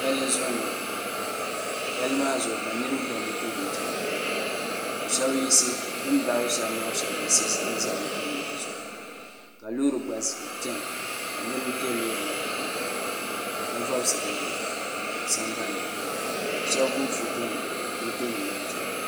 pali zuɣ' n nyɛli pali maa zuɣ' ka niriba ba mɔto nim chɛna ka shɛbi yisi bɛn baɣ' li shɛb maa shɛb za mɔto nim maa zuɣ' ka lori gba za kpɛna la niriba bɛ lori maa puuni ka vasili yuni na sanbani ka shɛbi gbabi ƒɔtonim mɔto nim maa zuɣ'